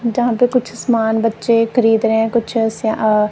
जहा पे कुछ समान बच्चे खरीद रहे है कुछ से अ--